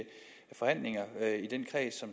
forhandlinger i den kreds